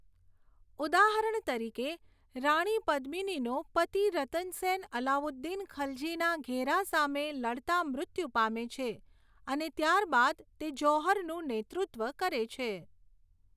ઉદાહરણ તરીકે, રાણી પદ્મિનીનો પતિ રતન સેન અલાઉદ્દીન ખલજીના ઘેરા સામે લડતા મૃત્યુ પામે છે, અને ત્યાર બાદ તે જૌહરનું નેતૃત્વ કરે છે.